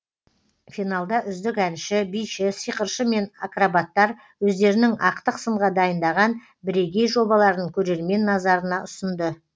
финалда үздік әнші биші сиқыршы мен акробаттар өздерінің ақтық сынға дайындаған бірегей жобаларын көрермен назарына ұсынды